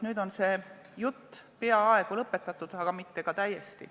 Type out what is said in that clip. Nüüd on see jutt peaaegu lõpetatud, aga mitte täiesti.